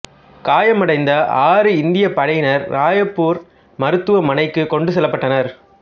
காயமடைந்த ஆறு இந்தியப் படையினர் ராய்பூர் மருத்துவமனைக்குக் கொண்டு செல்லப்பட்டனர்